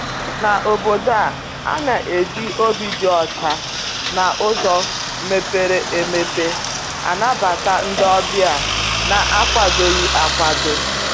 N' Obodo a, a na-eji obi dị ọcha na uzo mepere emepe anabata ndị ọbịa na-akwadoghi akwado.